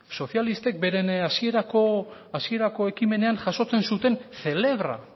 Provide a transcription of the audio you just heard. sozialistek beren hasierako ekimenean jasotzen zuten celebra